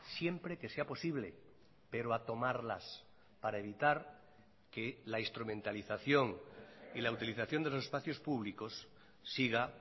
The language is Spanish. siempre que sea posible pero a tomarlas para evitar que la instrumentalización y la utilización de los espacios públicos siga